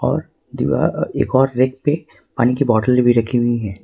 और दीवार एक और व्यक्ति पानी की बोतलें भी रखी हुई हैं।